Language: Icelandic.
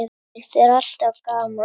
Finnst þér alltaf gaman?